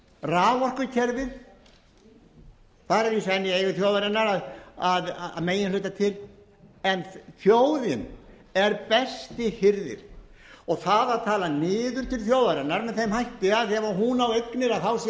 raforkukerfið það er að sönnu í eigu þjóðarinnar að meginhluta til en þjóðin er besti hirðir og það að tala niður til þjóðarinnar með þeim hætti að ef hún á